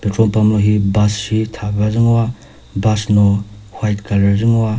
petrol pump lohi bus shi thapüa zü ngoa bus no white colour zü ngoa.